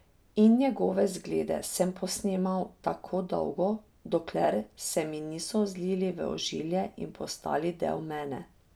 In njegove zglede sem posnemal tako dolgo, dokler se mi niso zlili v ožilje in postali del mene.